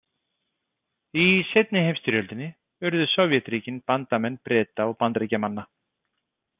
Í seinni heimsstyrjöldinni urðu Sovétríkin bandamenn Breta og Bandaríkjamanna.